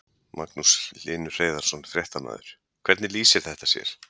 Magnús Hlynur Hreiðarsson, fréttamaður: Hvernig lýsir þetta sér?